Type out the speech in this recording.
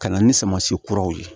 Ka na ni samasi kuraw ye